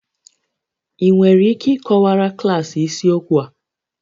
Ị nwere ike ịkọwara klaasị isiokwu a?